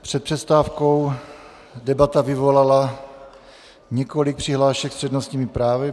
Před přestávkou debata vyvolala několik přihlášek s přednostními právy.